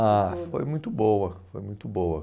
Ah, foi muito boa, foi muito boa.